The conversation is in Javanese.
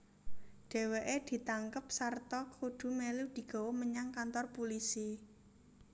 Dheweke ditangkep sarta kudu melu digawa menyang kantor pulisi